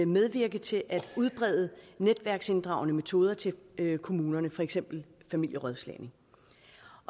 medvirke til at udbrede netværksinddragende metoder til kommunerne for eksempel familierådslagning